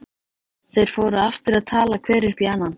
Þeir fóru aftur að tala hver upp í annan.